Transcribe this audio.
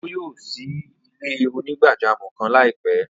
Ọjọ́ yóò ṣí ilẹ̀-onígbàjàmọ́ kan laipẹ.